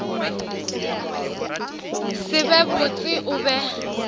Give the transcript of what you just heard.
se be botse o be